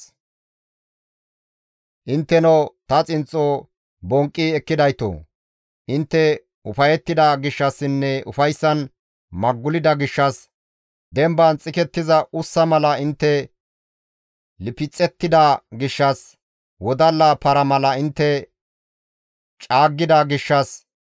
«Intteno ta xinxxo bonqqi ekkidaytoo! Intte ufayettida gishshassinne ufayssan maggulida gishshas, demban xikettiza ussa mala intte lifxettida gishshas, wodalla para mala intte caaggida gishshas,